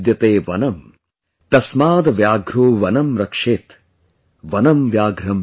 तस्माद् व्याघ्रो वनं रक्षेत्, वनं व्याघ्रं न पालयेत् ||